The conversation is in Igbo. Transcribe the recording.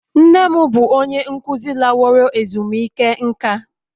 Nne m bụ onye nkuzi laworo ezumike nka